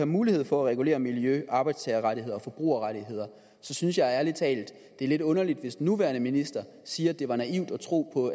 mulighed for at regulere miljø arbejdstagerrettigheder og forbrugerrettigheder synes jeg ærligt talt at det er lidt underligt hvis den nuværende minister siger at det var naivt at tro på